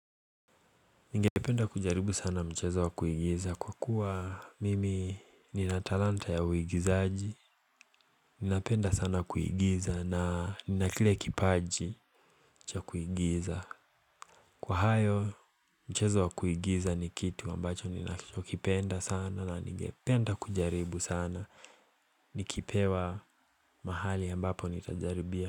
Ningependa kujaribu sana mchezo wa kuigiza kwa kuwa mimi nina talanta ya uigizaji Ninapenda sana kuigiza na nina kile kipaji cha kuigiza Kwa hayo mchezo wa kuigiza ni kitu ambacho ninachokipenda sana na ningependa kujaribu sana Nikipewa mahali ambapo nitajaribia.